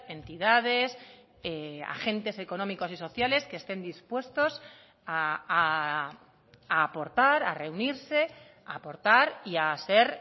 entidades agentes económicos y sociales que estén dispuestos a aportar a reunirse a aportar y a ser